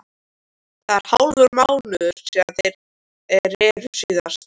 Það er hálfur mánuður síðan þeir reru síðast.